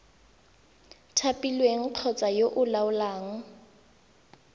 thapilweng kgotsa yo o laolang